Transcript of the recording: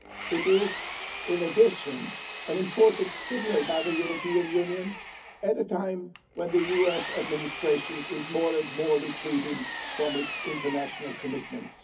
It is, in addition, an important signal by the European Union at a time when the US administration is retreating more and more from its international commitments.